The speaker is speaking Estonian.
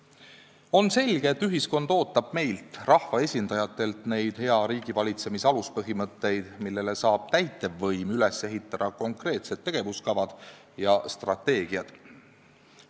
On selge, et ühiskond ootab meilt, rahvaesindajatelt, neid hea riigivalitsemise aluspõhimõtteid, millele saab täitevvõim üles ehitada konkreetsed tegevuskavad ja strateegiad.